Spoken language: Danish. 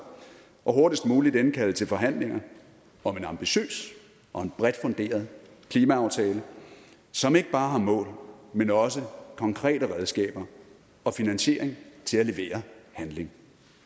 og hurtigst muligt indkalde til forhandlinger om en ambitiøs og bredt funderet klimaaftale som ikke bare har mål men også konkrete redskaber og finansiering til at levere handling